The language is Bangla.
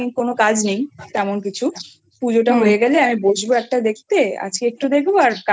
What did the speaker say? নামে কোনো কাজ নেই তেমন কিছু পুজো টা হয়ে গেলেহু আমি বসবো একটা দেখতে আজকে একটু দেখবো